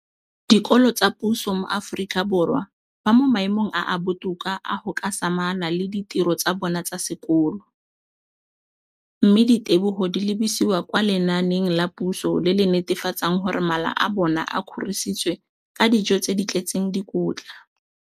dikolo tsa puso mo Aforika Borwa ba mo maemong a a botoka a go ka samagana le ditiro tsa bona tsa sekolo, mme ditebogo di lebisiwa kwa lenaaneng la puso le le netefatsang gore mala a bona a kgorisitswe ka dijo tse di tletseng dikotla.